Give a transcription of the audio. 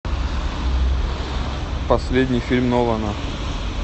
последний фильм нолана